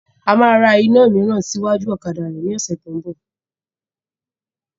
A máa lọ ra iná míírán sí iwájú ọ̀kadà rẹ ní ọ̀sẹ̀ tí ń bọ̀.